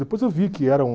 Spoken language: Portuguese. Depois eu vi que era um...